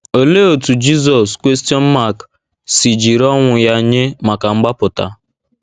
Olee otú Jizọs si jiri ọnwụ ya nye maka mgbapụta?